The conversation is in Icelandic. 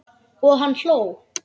Og hann hló.